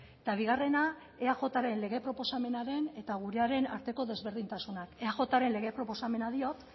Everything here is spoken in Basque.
eta bigarrena eajren lege proposamenaren eta gurearen arteko ezberdintasunak eajren lege proposamena diot